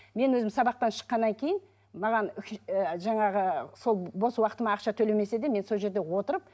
мен өзім сабақтан шыққаннан кейін маған жаңағы сол бос уақытыма ақша төлемесе де мен сол жерде отырып